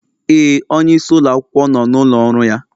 Ee, onyeisi ụlọ akwụkwọ nọ n'ụlọ ọrụ ya